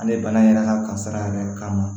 An bɛ bana yɛrɛ ka kasara yɛrɛ k'a ma